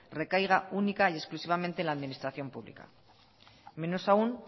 recaiga única y exclusivamente en la administración pública menos aún